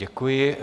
Děkuji.